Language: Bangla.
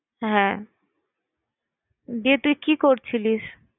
হ্যাঁ ইয়ে তুই কি করছিলিস?